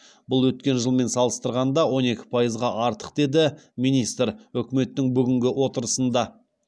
бұл өткен жылмен салыстырғанда он екі пайызға артық деді министр үкіметтің бүгінгі отырысында